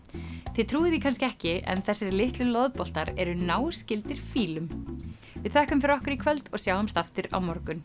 þið trúið því kannski ekki en þessir litlu eru náskyldir fílum við þökkum fyrir okkur í kvöld og sjáumst á morgun